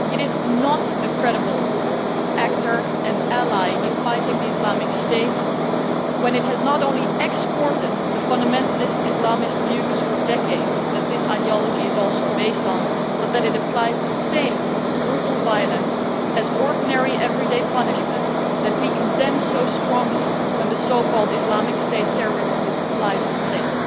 It is not a credible actor and ally in fighting Islamic State when it has not only exported for decades the fundamentalist Islamist views that this ideology is also based on, but also applies the same brutal violence, as an ordinary everyday punishment, that we condemn so strongly when the so called Islamic State terrorist group applies the same.